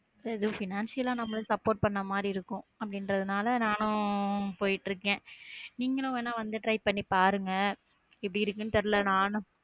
இதோ financial ஆவும் நம்ம support பண்ண மாதிரி இருக்கும் அப்படி இன்றதநாள நானும் போயிட்டு இருக்க நீங்களும் வேணா வந்து try பண்ணி பாருங்க எப்படி இருக்குன்னு தெருல நானும்